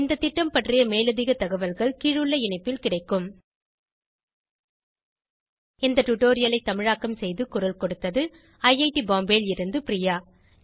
இந்த திட்டம் பற்றி மேலதிக தகவல்கள் கீழுள்ள இணைப்பில் கிடைக்கும் இந்த டுடோரியலை தமிழாக்கம் செய்து குரல் கொடுத்தது ஐஐடி பாம்பேவில் இருந்து பிரியா